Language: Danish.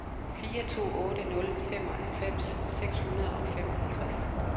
fire to otte nul femoghalvfems seks hundrede og femoghalvtreds